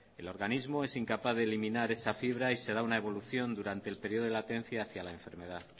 el organismo es incapaz de eliminar esa fibra y se da una evolución durante el periodo de latencia hacia la enfermedad